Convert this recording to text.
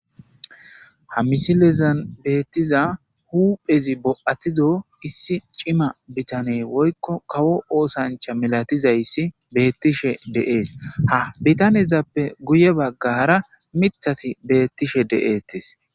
ha misilezan beettiza huphezi bo'atido issi cima bitane woykko kawo oosancha milatizayssi beettishe de'ees ha bitanezappe guye baggara mithati beettishe de'eettes